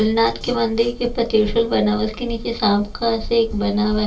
भोलेनाथ के मंदिर के ऊपर त्रिशूल बना हुआ उसके नीचे सांप का शेप बना हुआ--